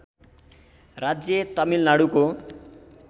राज्य तमिलनाडुको